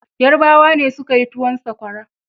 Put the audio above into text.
Yarbawa ne suka yin towun Sakwara.